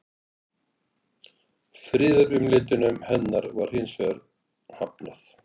Friðarumleitunum hennar var hins vegar hafnað.